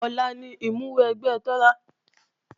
Ọ̀la ni ìmúwẹgbẹ́ Tọ́lá